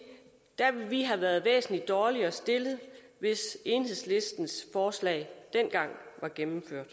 at vi der havde været væsentligt dårligere stillet hvis enhedslistens forslag dengang var gennemført